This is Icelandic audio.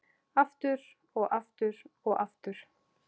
Aftur, og aftur, og aftur.